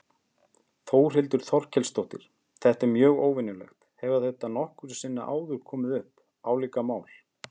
Þórhildur Þorkelsdóttir: Þetta er mjög óvenjulegt, hefur þetta nokkru sinni áður komið upp, álíka mál?